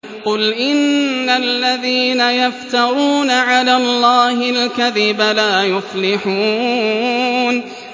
قُلْ إِنَّ الَّذِينَ يَفْتَرُونَ عَلَى اللَّهِ الْكَذِبَ لَا يُفْلِحُونَ